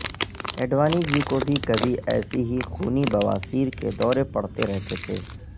اڈوانی جی کو بھی کبھی ایسی ہی خونی بواسیر کے دورے پڑتے رہتے تھے